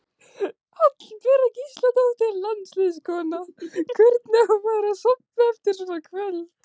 Hallbera Gísladóttir landsliðskona: Hvernig á maður að sofna eftir svona kvöld?